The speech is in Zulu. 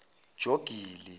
jogili